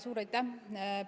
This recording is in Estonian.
Suur aitäh!